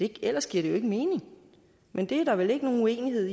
ellers giver det jo ikke mening men det er der vel ikke nogen uenighed